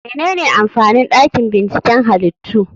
Menene amfanin dakin binciken halittu?